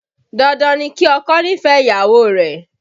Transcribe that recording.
Dandan ni kí ọkọ nífẹ̀ẹ́ ìyàwó rẹ̀